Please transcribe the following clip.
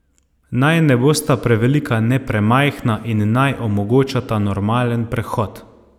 Naj ne bosta prevelika ne premajhna in naj omogočata normalen prehod.